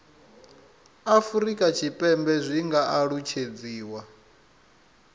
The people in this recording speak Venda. afurika tshipembe zwi nga alutshedziwa